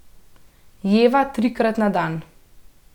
Jeva trikrat na dan.